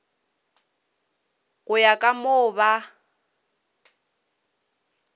go ya ka moo ba